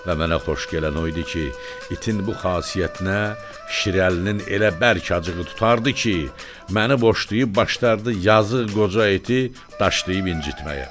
Və mənə xoş gələn o idi ki, itin bu xasiyyətinə Şirəlinin elə bərk acığı tutardı ki, məni boşlayıb başlardı yazıq qoca iti daşlayıb incitməyə.